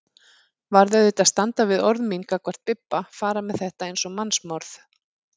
Varð auðvitað að standa við orð mín gagnvart Bibba, fara með þetta eins og mannsmorð.